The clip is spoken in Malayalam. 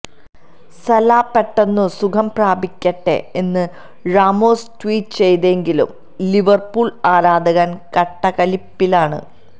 സലാ പെട്ടെന്നു സുഖംപ്രാപിക്കട്ടെ എന്ന് റാമോസ് ട്വീറ്റ് ചെയ്തെങ്കിലും ലിവർപൂൾ ആരാധകർ കട്ടക്കലിപ്പിലാണ്